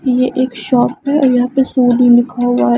ये एक शॉप है और यहां पे सोनी लिखा हुआ है।